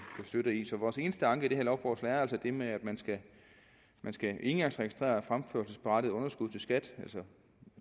støtte vores eneste anke mod det her lovforslag er det med at man skal engangsregistrere fremførselsberettigede underskud til skat